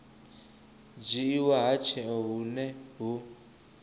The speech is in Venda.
dzhiiwa ha tsheo hune hu